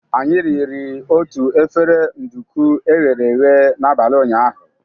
Anyị riri otu efere nduku e ghere eghe n'abalị ụnyaahụ.